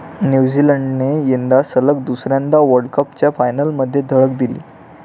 न्यूझीलंडने यंदा सलग दुसऱ्यांदा वर्ल्डकपच्या फायनलमध्ये धडक दिली.